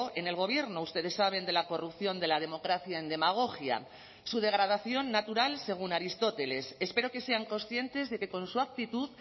en el gobierno ustedes saben de la corrupción de la democracia en demagogia su degradación natural según aristóteles espero que sean conscientes de que con su actitud